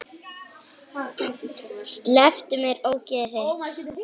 Slepptu mér, ógeðið þitt!